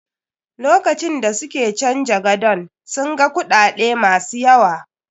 Lokacin da suke canja gadon, sun ga kuɗaɗe ma su yaw.